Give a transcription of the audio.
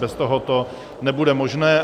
Bez toho to nebude možné.